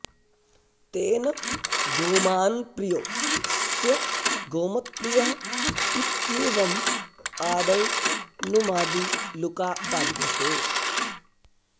तेन गोमान् प्रियो ऽस्य गोमत्प्रियः इत्येवम् आदौ नुमादि लुका बाध्यते